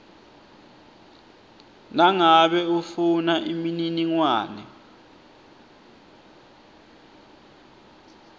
nangabe ufuna imininingwane